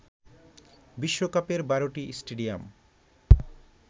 বিশ্বকাপের বারটি স্টেডিয়াম